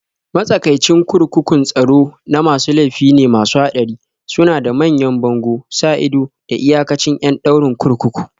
Matsakaicin kurkukun tsaro na masu laifi ne masu haɗari, suna da manyan bango, sa ido, da iyakacin ƴan ɗaurin kurkuku